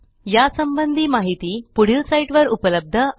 या संबंधी माहिती पुढील साईटवर उपलब्ध आहे